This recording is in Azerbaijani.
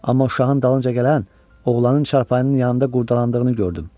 Amma uşağın dalınca gələn oğlanın çarpanın yanında qurdalandığını gördüm.